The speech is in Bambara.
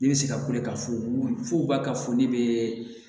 Ne bɛ se ka kule ka fu f'u ka ka fɔ ne bɛ